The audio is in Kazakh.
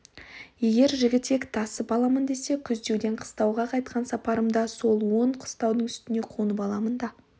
егер жігітек тасып аламын десе күздеуден қыстауға қайтқан сапарымда сол он қыстаудың үстіне қонып аламын да